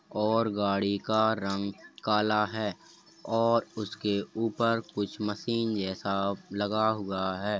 और गाड़ी का रंग काला है और उसके ऊपर कुछ मशीन जेसा लगा हुआ है।